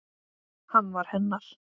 Hann var hennar.